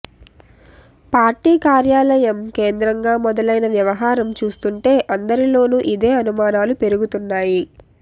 party కార్యాలయం కేంద్రంగా మొదలైన వ్యవహారం చూస్తుంటే అందరిలోను ఇదే అనుమానాలు పెరిగిపోతున్నాయి